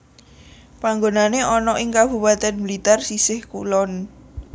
Panggonané ana ing Kabupatèn Blitar sisih kulon